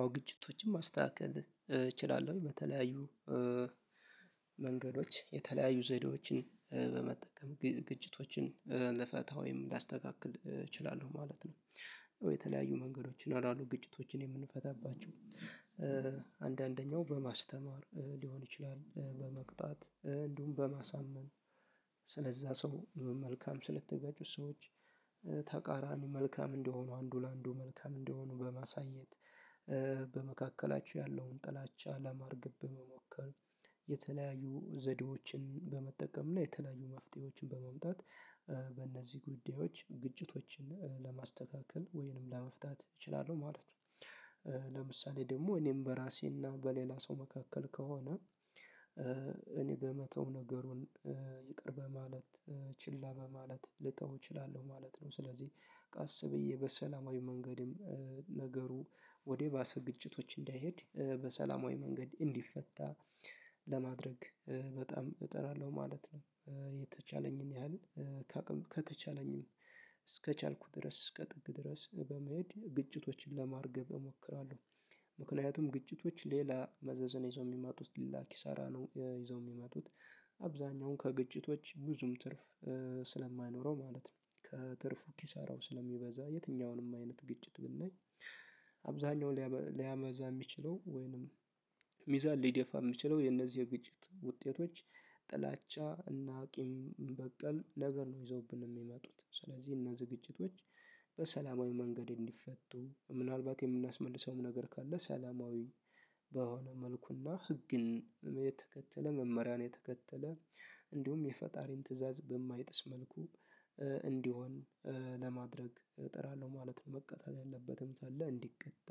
አዎ ግጭቶችን ማስተካከል እችላለሁ በተለያዩ መንገዶች የተለያዩ ዘዴዎችን በመጠቀም ግጭቶችን ልፈታ ወይም ላስተካክል እችላለሁ ማለት ነው። የተለያዩ መንገዶች ይኖራሉ ግጭቶችን የምንፈታባቸው አንዳንደኛው በማስተማር ሊሆን ይችላል በመቅጣት እንዲሁም በማሳመን ስለዛ ሰው መልካም ስለተጋጩት ሰዎች ተቃራኒ መልካም እንደሆኑ አንዱ ለአንዱ መልካም እንደሆኑ በማሳየት በመካከላቸው ያለውን ጥላቻ ለማርገብ በመሞከር የተለያዩ ዘዴዎችን በመጠቀም እና የተለያዩ መፍትሄዎችን በመምጣት በእነዚህ ጉዳዮች ግጭቶችን ለማስተካከል ወይንም ለመፍታት እችላለሁ ማለት ነው። ለምሳሌ ደግሞ እኔም በራሴና በሌላ ሰው መካከል ከሆነ እኔ በመተው ነገሩን ይቅር በማለት ችላ በማለት ልተው እችላለሁ ማለት ነው። ስለዚህ ቀስ ብዬ በሰላማዊ መንገድም ነገሩ ወደ ባሰ ግጭቶች እንዳይሄድ በሰላማዊ መንገድ እንዲፈታ ለማድረግ በጣም እጥራለሁ ማለት ነው። የተቻለኝን ያህል ከአቅም ከተቻለኝ እስከቻልኩ ድረስ እስከ ጥግ ድረስ በመሄድ ግጭቶችን ለማርገብ እሞክራለሁ። ምክንያቱም ግጭቶች ሌላ መዘዘን ይዘው የሚመጡት ሌላ ኪሳራ ነው ይዘው የሚመጡት አብዛኛውን ከግጭቶች ብዙም ትርፍ ስለማይኖረው ማለት ነው። ከትርፉ ኪሳራው ስለሚበዛ የትኛውንም አይነት ግጭት ብናይ አብዛኛው ሊያመዝን የሚችለው ወይንም ሚዛን ሊደፋ የሚችለው የነዚህ የግጭት ውጤቶች ጥላቻ እና ቂም በቀል ነገር ነው ይዘውብን የሚመጡት ስለዚህ እነዚህ ግጭቶች። በሰላማዊ መንገድ እንዲፈቱ ምናልባት የምናስመልሰውም ነገር ካለ ሰላማዊ በሆነ መልኩና ህግን የተከተለ መመሪያን የተከተለ እንዲሁም የፈጣሪን ትእዛዝ በማይጥስ መልኩ እንዲሆን ለማድረግ እጥራለሁ። ማለት መቀጣት ያለበትም ካለ እንዲቀጣ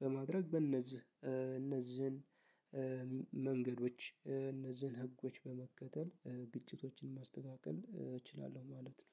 በማድረግ በእነዚህ እነዚህን መንገዶች እነዚህን ህጎች በመከተል ግጭቶችን ማስተካከል እችላለሁ ማለት ነው።